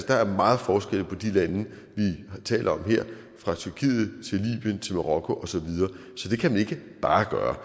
der er meget forskel på de lande vi taler om her fra tyrkiet til libyen til marokko osv så det kan man ikke bare gøre